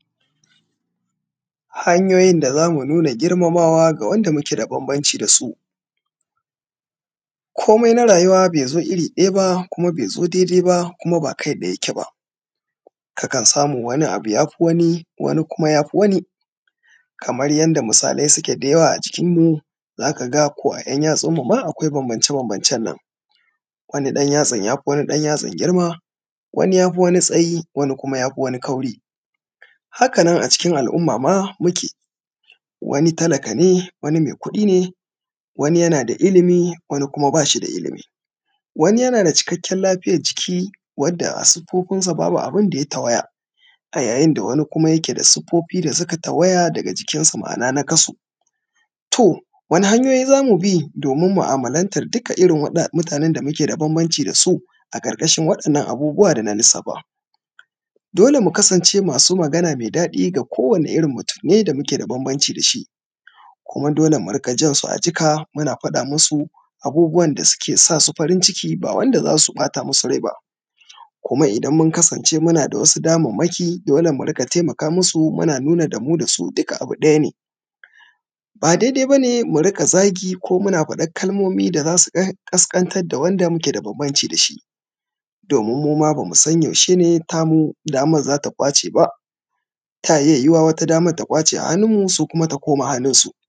hanyoyin da za mu nuna girmamawa ga wanda muke da bambanci da su komai na rayuwa bai zo iri ɗaya ba kuma bai zo daidai ba kuma ba kai ɗaya yake ba kakan samu abu wani ya fi wani wani kuma ya fi wani kamar yadda misalai suke da yawa a jikinmu za ka ga ko a ‘yan yatsunmu ma akwai bambance bambancen nan xxx wani ɗan yatsan ya fi wani ɗan yatsan girma wani ya fi wani tsayi wani kuma ya fi wani kauri haka nan a cikin al’umma ma muke wani talaka ne wani mai kuɗi ne wani yana da ilimi wani kuma ba shi da ilimi wani yana da cikakkiyar lafiyar jiki wadda a siffofinsa babu abin da ya tawaya a yayin da wani kuma yake da siffofi da suka tawaya daga jikinsa ma’ana nakasu to wane hanyoyi za bi domin mu’amalantar duka irin waɗannan mutanen da muke da bambanci da su a ƙarƙashin waɗannan abubuwa da na lissafa dole mu kasance masu magana mai daɗi ga kowanne irin mutum ne da muke da bambanci da shi kuma dole mu riƙa jansu a jika muna faɗa musu abubuwan da ke sa su farin ciki ba wanda za su ɓata musu rai ba kuma idan mun kasance muna da wasu damammaki dole mu riƙa taimaka musu muna nuna mu da su duka abu ɗaya ne ba daidai ba ne mu riƙa zagi ko muna faɗan kalmomi da za su ƙasƙantar da wanda muke da bambanci da shi domin mu ma ba mu san yaushe ne tamu damar za ta ƙwace ba ta iya yiwuwa wata damar ta ƙwace a hannunmu su kuma ta koma hannunsu